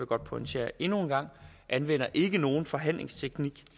godt pointere endnu en gang anvender ikke nogen forhandlingsteknik